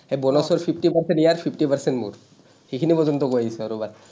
সেই bonus ৰ fifty percent ইয়াৰ, fifty percent মোৰ। সেইখিনি পৰ্য্যন্ত কৈ আহিছোঁ আৰু।